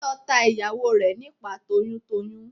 Táyọ̀ ta ìyàwó rẹ̀ nípàá toyún toyún.